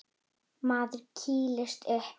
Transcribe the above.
Maður kýlist upp.